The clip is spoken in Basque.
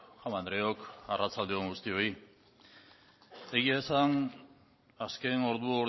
jaun andreok arratsalde on guztioi egia esan azken ordu